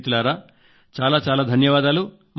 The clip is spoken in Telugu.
స్నేహితులారాచాలాచాలాధన్యవాదాలు